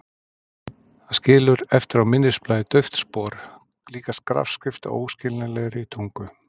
Það skilur eftir á minnisblaði dauft spor, líkast grafskrift á óskiljanlegri tungu.